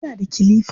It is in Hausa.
Yana da kilifa.